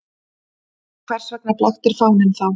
En hvers vegna blaktir fáninn þá?